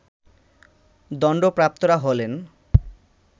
দণ্ডপ্রাপ্তরা হলেন